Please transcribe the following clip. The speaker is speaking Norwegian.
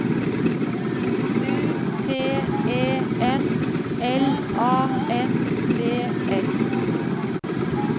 U T E N L A N D S